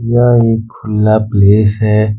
यह एक खुला प्लेस है।